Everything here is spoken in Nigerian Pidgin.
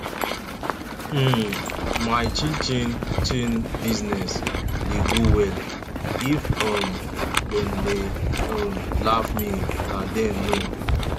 um my chin chin chin business dey go well if um dem dey um laugh me na dem know